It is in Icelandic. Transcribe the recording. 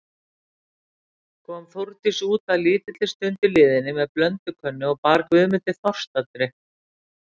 Kom Þórdís út að lítilli stundu liðinni með blöndukönnu og bar Guðmundi þorstadrykk.